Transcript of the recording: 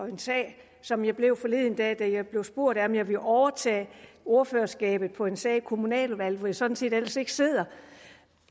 en sag som jeg blev forleden dag da jeg blev spurgt om jeg ville overtage ordførerskabet på en sag i kommunaludvalget hvor jeg sådan set ellers ikke sidder